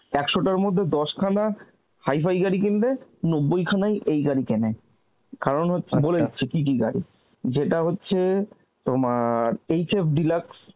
একশ টার মধ্যে দশ খানা হাইফাই গাড়ি কিনবে আর নব্বই খানাই এই গাড়ি কেনে, কারণ হচ্ছে কি কি গাড়ি, যেটা হচ্ছে তোমার Hfdeluxe